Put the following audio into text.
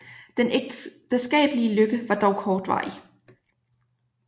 Den ægteskabelige lykke var dog kortvarig